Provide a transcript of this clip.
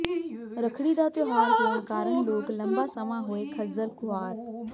ਰੱਖੜੀ ਦਾ ਤਿਓਹਾਰ ਹੋਣ ਕਾਰਨ ਲੋਕ ਲੰਬਾ ਸਮਾਂ ਹੋਏ ਖੱਜ਼ਲ ਖੁਆਰ